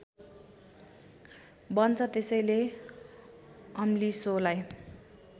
बन्छ त्यसैले अम्लिसोलाई